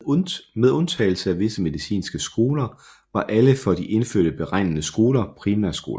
Med undtagelse af visse medicinske skoler var alle for de indfødte beregnede skoler primærskoler